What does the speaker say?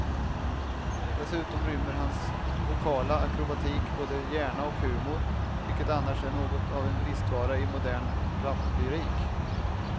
Dessutom rymmer hans vokala akrobatik både hjärna och humor, vilket annars är något av en bristvara i modern raplyrik.